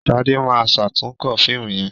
Shade ma ṣatunkọ fíìmù yén.